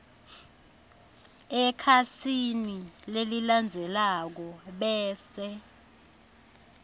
ekhasini lelilandzelako bese